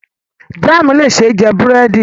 Jaamu le ṣee jẹ buredi